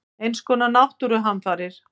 Eins konar náttúruhamfarir.